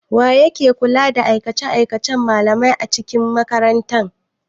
Wa yake kula da aikace-aikacen malamai a cikin makaranta?